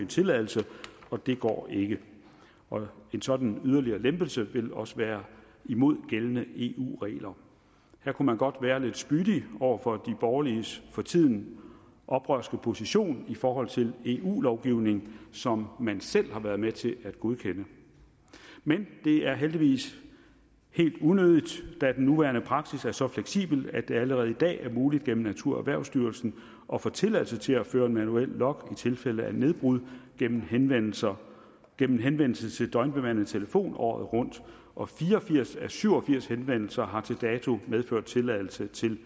tilladelse og det går ikke en sådan yderligere lempelse vil også være imod gældende eu regler her kunne man godt være lidt spydig over for de borgerliges for tiden oprørske position i forhold til eu lovgivning som man selv har været med til at godkende men det er heldigvis helt unødigt da den nuværende praksis er så fleksibel at det allerede i dag er muligt gennem naturerhvervsstyrelsen at få tilladelse til at føre en manuel log i tilfælde af nedbrud gennem henvendelser gennem henvendelser til døgnbemandet telefon året rundt og fire og firs af syv og firs henvendelser har til dato medført tilladelse til